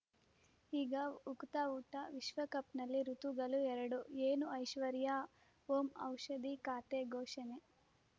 ಈಗ ಉಕುತ ಊಟ ವಿಶ್ವಕಪ್‌ನಲ್ಲಿ ಋತುಗಳು ಎರಡು ಏನು ಐಶ್ವರ್ಯಾ ಓಂ ಔಷಧಿ ಖಾತೆ ಘೋಷಣೆ